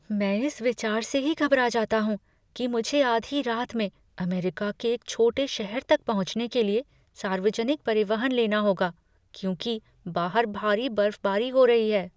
मैं इस विचार से ही घबरा जाता हूँ कि मुझे आधी रात में अमेरिका के एक छोटे शहर तक पहुँचने के लिए सार्वजनिक परिवहन लेना होगा क्योंकि बाहर भारी बर्फबारी हो रही है।